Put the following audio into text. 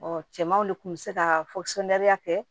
cɛmanw de kun bɛ se ka fɔ sunariya kɛ